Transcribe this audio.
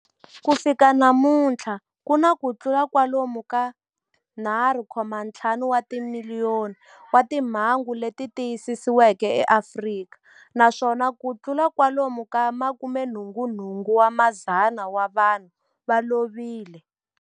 Ku fika namuntlha ku na kutlula kwalomu ka 3.5 wa timiliyoni wa timhangu leti tiyisisiweke eAfrika, naswona kutlula kwalomu ka 88,000 wa vanhu va lovile.